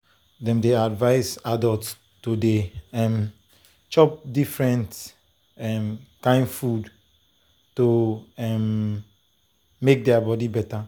dem dey advise adults to dey um chop different um kain food to um make their body better.